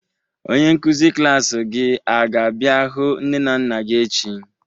Onye nkụzi klas gị a ga bịa hụ nne na nna gị echi?